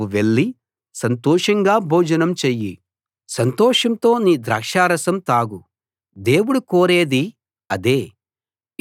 నువ్వు వెళ్లి సంతోషంగా భోజనం చెయ్యి సంతోషంతో నీ ద్రాక్షారసం తాగు దేవుడు కోరేది అదే